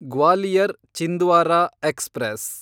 Gwalior Chhindwara express